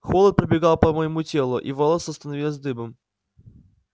холод пробегал по моему телу и волоса становились дыбом